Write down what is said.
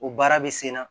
O baara bɛ sen na